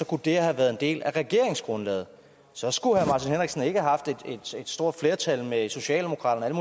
kunne det her have været en del af regeringsgrundlaget så skulle herre ikke have haft et stort flertal med socialdemokratiet